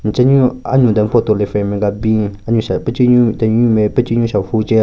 Nchenyu anyue den photo le frame nme ka bin anyue sha pechenyu tenunyu nme pechenyu shahvu che.